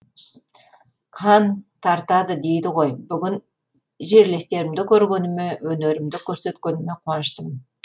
қан тартады дейді ғой бүгін жерлестерімді көргеніме өнерімді көрсеткеніме қуаныштымын